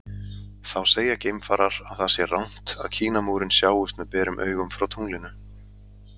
Þá segja geimfarar að það sé rangt að Kínamúrinn sjáist með berum augum frá tunglinu.